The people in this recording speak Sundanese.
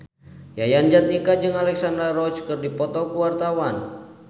Yayan Jatnika jeung Alexandra Roach keur dipoto ku wartawan